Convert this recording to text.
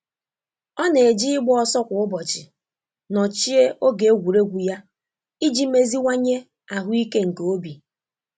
Ọ na-eji igba ọsọ kwa ụbọchị nochie oge egwuregwu ya iji meziwanye ahụ ike nke obi.